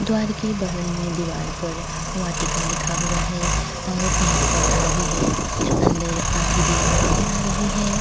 द्वार के बगल में दिवार पर वाटिका लिखा हुआ है और पौधा भी हैअंदर आधी दिवार नजर आ रही है।